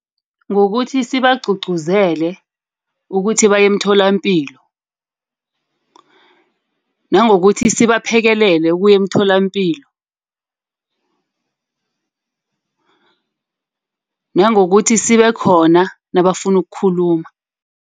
Ngokuthi sibagcugcuzeleke ukuthi baye emtholapilo nangokuthi sibaphekelele ukuya emtholapilo. Nangokuthi sibe khona nabafuna ukukhuluma.